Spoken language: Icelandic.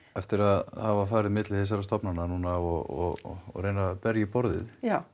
eftir að hafa farið á milli þessara stofnanna núna og reyna berja í borðið